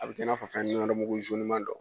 A bɛ kɛ i n'a fɔ fɛn nɛrɛmugu ma dɔ.